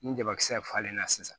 Ni jabakisɛ falenna sisan